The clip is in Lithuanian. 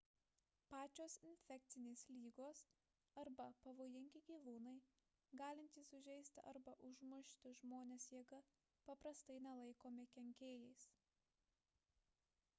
pačios infekcinės lygos arba pavojingi gyvūnai galintys sužeisti arba užmušti žmones jėga paprastai nelaikomi kenkėjais